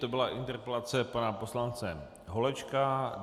To byla interpelace pana poslance Holečka.